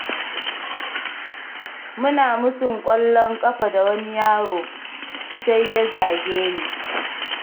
Muna musun ƙwallon ƙafa da wani yaro, sai ya zage ni.